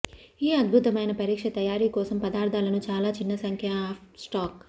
ఈ అద్భుతమైన పరీక్ష తయారీ కోసం పదార్ధాలను చాలా చిన్న సంఖ్య అప్ స్టాక్